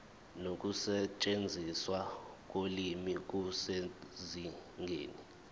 nokusetshenziswa kolimi kusezingeni